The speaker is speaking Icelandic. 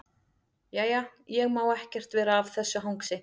Jæja, ég má ekkert vera að þessu hangsi.